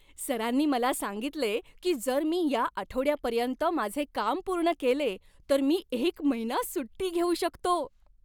सरांनी मला सांगितले की जर मी या आठवड्यापर्यंत माझे काम पूर्ण केले तर मी एक महिना सुट्टी घेऊ शकतो!